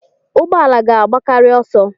Ụgbọ ala ga-agbakarị ọsọ.